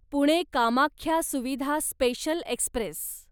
Pune Kamakhya Suvidha special Express